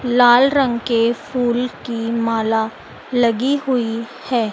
लाल रंग के फूल की माला लगी हुई है।